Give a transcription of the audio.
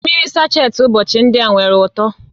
Mmiri sacheti ụbọchị ndị a nwere uto